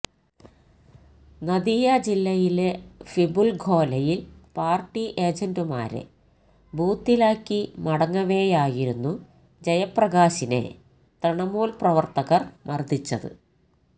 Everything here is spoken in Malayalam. നദിയ ജില്ലയിലെ ഫിപുല്ഖോലയില് പാര്ട്ടി ഏജന്റുമാരെ ബൂത്തിലാക്കി മടങ്ങവേയായിരുന്നു ജയപ്രകാശിനെ തൃണമൂല് പ്രവര്ത്തകര് മര്ദ്ദിച്ചത്